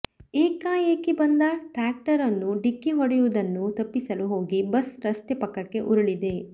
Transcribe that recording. ಏಕಾಏಕಿ ಬಂದ ಟ್ರ್ಯಾಕ್ಟರ್ ಅನ್ನು ಡಿಕ್ಕಿ ಹೊಡೆಯುವುದನ್ನು ತಪ್ಪಿಸಲು ಹೋಗಿ ಬಸ್ ರಸ್ತೆ ಪಕ್ಕಕ್ಕೆ ಉರುಳಿದೆ